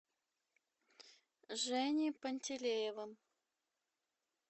женей пантелеевым